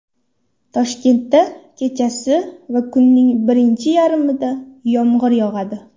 Toshkentda kechasi va kunning birinchi yarmida yomg‘ir yog‘adi.